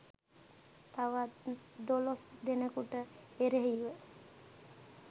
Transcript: තවත් දොළොස් දෙනකුට එරෙහිව